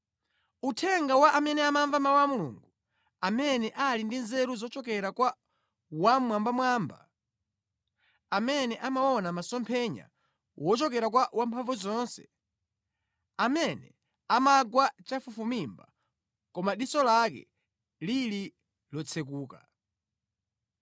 Uthenga wa amene amamva mawu a Mulungu, amene ali ndi nzeru zochokera kwa Wammwambamwamba, amene amaona masomphenya wochokera kwa Wamphamvuzonse, amene amagwa chafufumimba koma diso lake lili lotsekuka: